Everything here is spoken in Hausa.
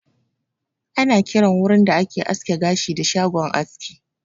Ana kiran wurin da ake aske gashi da "shagon aski"